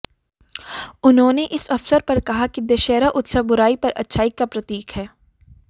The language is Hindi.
उन्होंने इस अवसर पर कहा कि दशहरा उत्सव बुराई पर अच्छाई का प्रतीक है